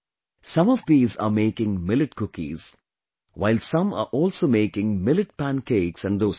Some of these are making Millet Cookies, while some are also making Millet Pancakes and Dosa